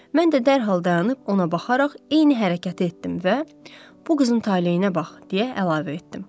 Mən də dərhal dayanıb ona baxaraq eyni hərəkəti etdim və bu qızın taleyinə bax deyə əlavə etdim.